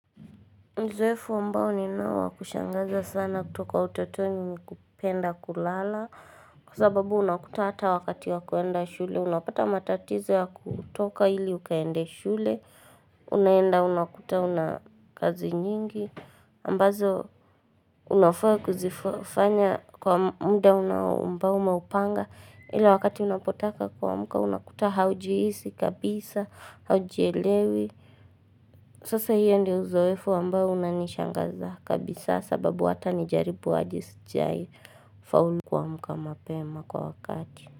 Uzoefu ambao ninao wa kushangaza sana kutoka utotoni ni kupenda kulala Kwa sababu unakuta hata wakati wa kuenda shule, unapata matatizo ya kutoka ili ukaende shule Unaenda unakuta una kazi nyingi ambazo unafaa kuzifanya kwa muda unao ambao umeupanga ila wakati unapotaka kuamka unakuta haujihisi kabisa, haujielewi Sasa hiyo ndio uzoefu ambao unanishangaza kabisa sababu hata nijaribu aje sijai faulu kuamka mapema kwa wakati.